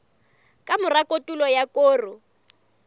ka mora kotulo ya koro